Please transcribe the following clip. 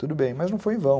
Tudo bem, mas não foi em vão.